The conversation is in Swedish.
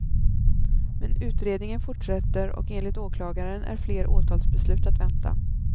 Men utredningen fortsätter och enligt åklagaren är fler åtalsbeslut att vänta.